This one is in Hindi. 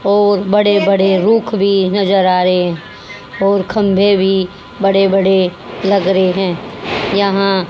और बड़े बड़े रूख भी नजर आ रहे और खंभे भी बड़े बड़े लग रहे हैं यहां--